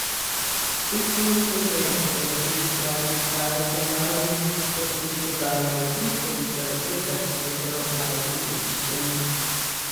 Pet minut pozneje se je na drugi strani izkazal Handanović po poskusu Damjana Trifkovića z desetih metrov malce z desne strani.